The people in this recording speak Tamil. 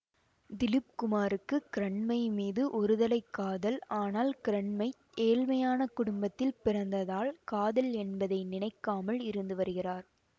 திலீப் குமாருக்கு கிரண்மை மீது ஒருதலைக் காதல் ஆனால் கிரண்மை ஏழ்மையான குடும்பத்தில் பிறந்ததால் காதல் என்பதை நினைக்காமல் இருந்து வருகிறார்